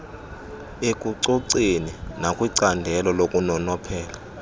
ekucoceni nakwincandelo lokunonophela